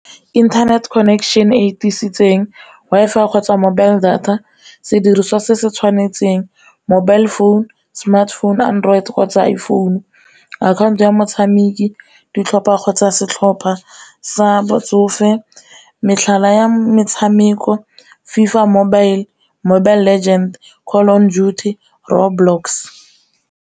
Internet connection e tiisitseng Wi-Fi kgotsa mobile data sediriswa se se tshwanetseng, mobile phone, smartphone, android kgotsa iphone, account ya motshameki, ditlhopha kgotsa setlhopha sa botsofe, metlhala ya metshameko, FiFA Mobile, Mobile Legends, Call of Duty, Roblox.